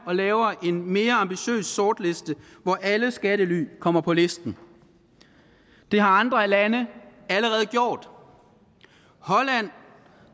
og laver en mere ambitiøs sortliste hvor alle skattely kommer på listen det har andre lande allerede gjort holland